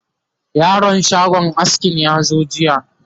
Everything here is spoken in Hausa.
yaron shagon askin ya zo jiya?